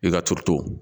I ka turu to